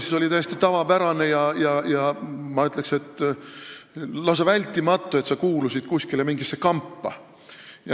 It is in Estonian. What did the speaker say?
Siis oli täiesti tavapärane ja ma ütleks, et lausa vältimatu, et sa kuulusid mingisse kampa.